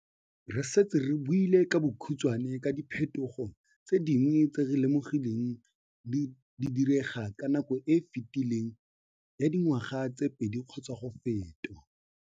Re setse re buile ka bokhutswane ka diphethogo tse dingwe tse re lemogileng di direga ka nako e e fetileng ya dingwaga tse pedi kgotsa go feta.